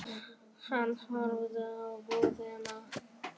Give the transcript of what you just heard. Hann horfði á búðina.